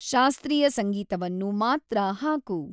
ಶಾಸ್ತ್ರೀಯ ಸಂಗೀತವನ್ನು ಮಾತ್ರ ಹಾಕು